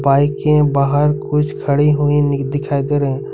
बाईकें बाहर कुछ खड़ी हुई दिखाई दे रही है।